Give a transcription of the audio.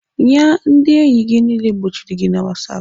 Nya ndị enyi gị niile gbochiri gị na whatsapp?